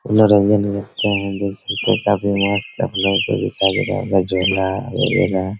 मनोरंजन मिलते हैं देख सकते हैं काफी मस्त आप लोग को दिखाई दे रहा होगा झूला वगैरा।